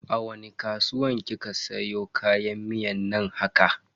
A wani kasuwa kika siyo kayan miyan nan haka?